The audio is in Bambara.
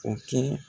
O kɛ